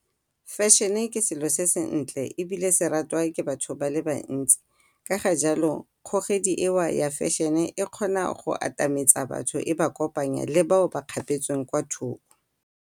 Fashion-e ke selo se sentle ebile se ratwa ke batho ba le bantsi ka ga jalo kgogedi eo ya fashion-e e kgona go atametsa batho e ba kopanya le bao ba kgapetsweng kwa thoko.